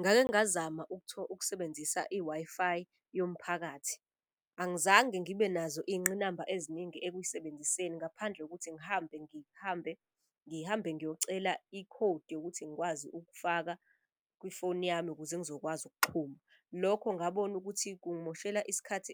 Ngake ngingazama ukusebenzisa i-Wi-Fi yomphakathi. Angizange ngibe nazo iy'ngqinamba eziningi ekuyisebenziseni ngaphandle kokuthi ngihambe ngiyocela ikhodi yokuthi ngikwazi ukufaka kwifoni yami ukuze ngizokwazi ukuxhuma. Lokho ngabona ukuthi kumoshela isikhathi